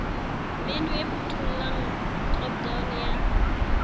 menu e phuthollang dropdown ya